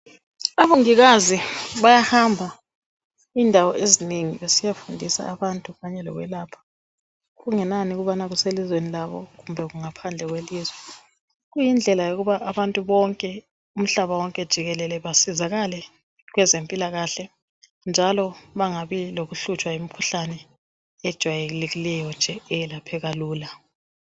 Omongikazi bayahamba indawo ezinengi besiyafundisa abantu kungenani ukuthi kuselizweni labo kumbe kungaphandle kwelizwe kuyindlela yokuba abantu bonke umhlaba wonke jikelele basizakale kwezempilakahle njalo nxa kulokuhlupha kwemkhuhlane ejwayelekileyo nje eyelapheka lula